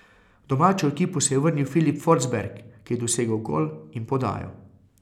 V domačo ekipo se je vrnil Filip Forsberg, ki je dosegel gol in podajo.